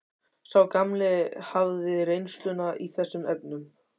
Sá gamli hafði reynsluna í þessum efnum.